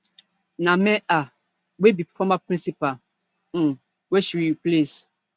na meher wey be former principal um wey she replace